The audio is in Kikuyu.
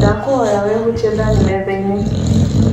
Ndakũhoya wehutie thani methainĩ.